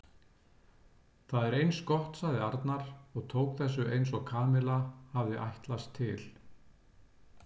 Það er eins gott sagði Arnar og tók þessu eins og Kamilla hafði ætlast til.